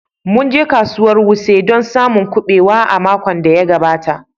Mun je kasuwar wuse don samun kubewa a makon da ya gabata